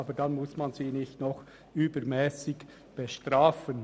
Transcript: Aber muss man sie nicht noch übermässig bestrafen.